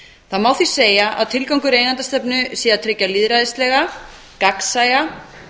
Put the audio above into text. það má því segja að tilgangur eigendastefnu sé að tryggja lýðræðislega gagnsæja